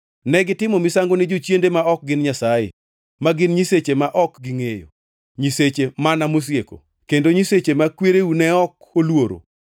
Negitimo misango ne jochiende ma ok gin Nyasaye, ma gin nyiseche mane ok gingʼeyo; nyiseche mana mosieko, kendo nyiseche ma kwereu ne ok oluoro.